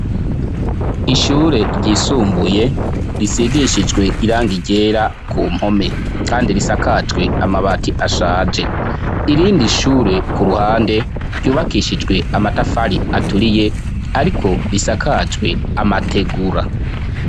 Ishure ryisumbuye risigishijwe irangi ryera ku mpome, kandi risakajwe amabati ashaje. Irindi shure ku ruhande ryubakishijwe amatafari aturiye ariko risakajwe amategura.